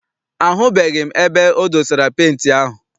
Ahụbeghị m ebe e dosara penti ahụ.